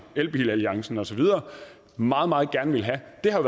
elbil alliance og så videre meget meget gerne vil have det har